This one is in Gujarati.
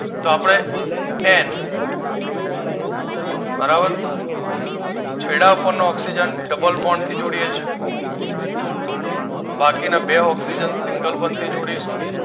તો આપડે એન બરાબર છેડા પરનો oxygen double bond થી જોડીએ છીએ બાકીના બે oxygen single bond થી જોડીશું